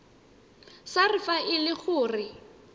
sars fa e le gore